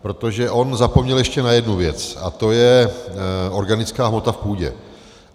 Protože on zapomněl ještě na jednu věc a to je organická hmota v půdě.